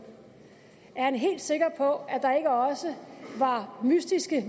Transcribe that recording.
er han helt sikker på at der ikke også var mystiske